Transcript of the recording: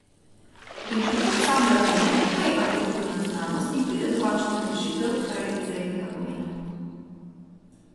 Inštitut sam razume, kaj je aplikativna znanost, in pride do končnih rešitev, kar je izrednega pomena.